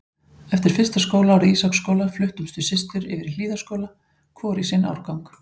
Eftir fyrsta skólaárið í Ísaksskóla fluttumst við systur yfir í Hlíðaskóla, hvor í sinn árgang.